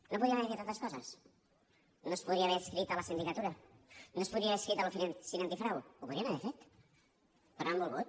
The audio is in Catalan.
no podríem haver fet altres coses no es podria haver adscrit a la sindicatura no es podria haver adscrit a l’oficina antifrau ho podrien haver fet però no han volgut